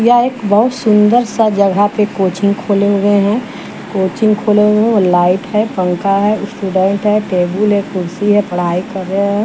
या एक बहुत सुंदर सा जगह पे कोचिंग खोले हुए हैं कोचिंग खोले हुए हैं लाइट हैं पंखा हैं स्टूडेंट हैं टेबल हैंकुर्सी हैं पढ़ाई कर रहे हैं।